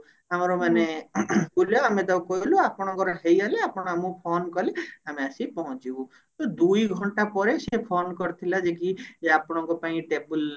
ଆମର ମାନେ ବୁଲ ଆମେ ତାକୁ କହିଲୁ ଆପଣଙ୍କର ହେଇଗଲେ ଆପଣ ଆମକୁ phone କଲେ ଆମେ ଆସି ପହଞ୍ଚିବୁ ତ ଦୁଇଘଣ୍ଟା ପରେ ସିଏ phone କରିଥିଲା ଯେ କି ଯେ ଆପଣଙ୍କ ପାଇଁ table